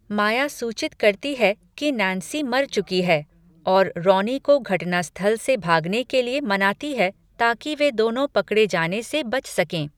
माया सूचित करती है कि नैन्सी मर चुकी है, और रॉनी को घटनास्थल से भागने के लिए मनाती है ताकि वे दोनों पकड़े जाने से बच सकें।